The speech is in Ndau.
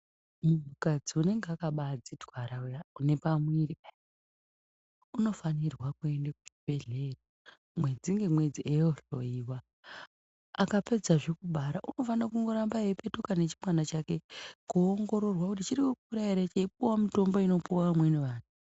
Munhukadzi unenge unepamuviri unofanira kuhamba kuchibhehlera kunovhenekwa uyezve kana wabara unofanire kupetuka nendumure kuoongororwa kuti chirikukura here echipiwa mitombo inopiwa vamwe amweni ake.